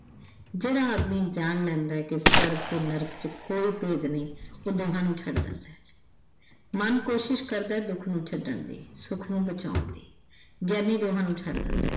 ਜਿਹੜਾ ਆਦਮੀ ਜਾਣ ਲੈਦਾ ਕਿ ਸਵਰਗ ਤੇ ਨਰਕ ਚ ਕੋਈ ਭੇਦ ਨਹੀਂ ਉਹ ਦੋਹਾਂ ਨੂੰ ਛੱਡ ਦਿੰਦਾ ਮਨ ਕੋਸ਼ਿਸ਼ ਕਰਦਾ ਦੁੱਖ ਨੂੰ ਛੱਡਣ ਦੀ ਸੁੱਖ ਨੂੰ ਬਚਾਉਣ ਦੀ। ਗਿਆਨੀ ਦੋਹਾਂ ਨੂੰ ਛੱਡ ਦਿੰਦਾ।